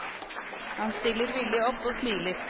Han stiller villig opp og smiler.